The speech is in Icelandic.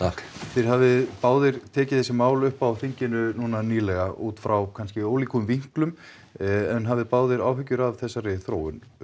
þið hafið báðir tekið þessi mál upp á þinginu núna nýlega út frá kannski ólíkum vinklum en hafið báðir áhyggjur af þessari þróun